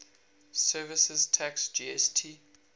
services tax gst